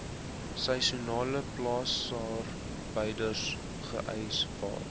seisoenale plaasarbeiders gehuisves